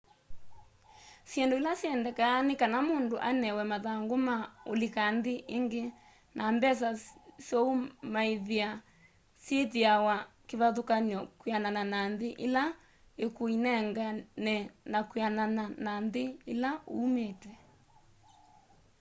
syĩndũ ila syendekanaa nĩ kaa mũndũ anewe mathangũ ma ũlika nthĩ ĩngĩ na mbesa sya'ũmaĩvĩa syĩthĩawa kĩvathũkanyo kwĩanana na nthĩ ĩla ĩkũĩnengane na kwĩanana na nthĩ ĩla uumĩte